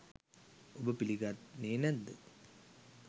ඔබ පිළි ගන්නේ නැත්ද?